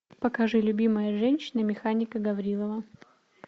покажи любимая женщина механика гаврилова